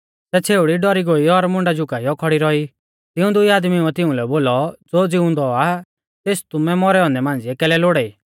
सै छ़ेउड़ी डौरी गोई और मुंडा झुकाई खौड़ी रौई तिऊं दुई आदमीउऐ तिउंलै बोलौ ज़ो ज़िउंदौ आ तेस तुमै मौरै औन्दै मांझ़िऐ कैलै लोड़ाई